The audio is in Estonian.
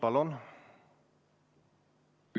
Palun!